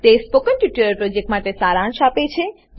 તે spoken tutorial પ્રોજેક્ટનો સારાંશ આપે છે